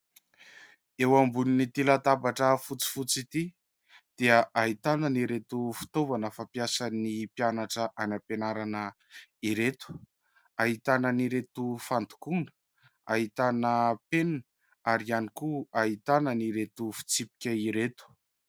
Eo ambonin'ity latabatra fotsifotsy ity dia ahitana an'ireto fitaovana fampiasan'ny mpianatra any ampianarana ireto. Ahitana an'ireto fandokoana, ahitana penina ary ihany koa ahitana an'ireto fitsipika ireto.